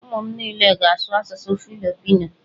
Ụmụ m niile ga-asụ asụsụ Filipino.